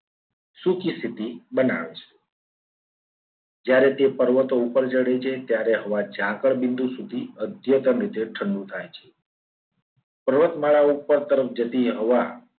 સૂકી સ્થિતિ બનાવે છે. જ્યારે તે પર્વતો ઉપર ચડે છે. ત્યારે હવા ઝાકળ બિંદુ સુધી અધ્યતન રીતે ઠંડુ થાય છે. પર્વતમાળા ઉપર તરફ જતી હવા